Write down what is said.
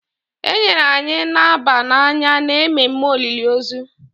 e nyere anyị naba n'anya n’ememme olili ozu